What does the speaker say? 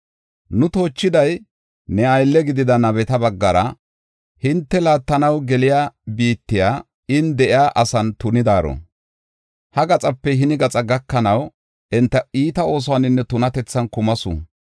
Nu toochiday ne aylle gidida nabeta baggara ‘Hinte laattanaw geliya biittay, in de7iya asan tunidaaro; ha gaxape hini gaxaa gakanaw enta iita oosuwaninne tunatethan kumasu.